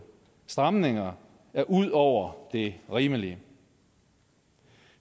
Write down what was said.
stramninger er ud over det rimelige